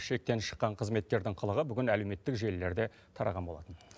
шектен шыққан қызметкердің қылығы бүгін әлеуметтік желілерде тараған болатын